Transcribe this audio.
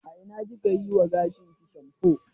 A ina ki ka yi wa gashinki shamfo?